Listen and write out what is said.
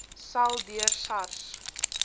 sal deur sars